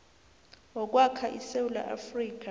wokwakha isewula afrika